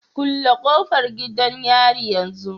Kulle kofar gidan yari yanzu